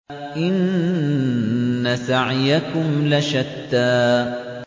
إِنَّ سَعْيَكُمْ لَشَتَّىٰ